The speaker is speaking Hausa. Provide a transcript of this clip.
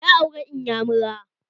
Ya aure inyamura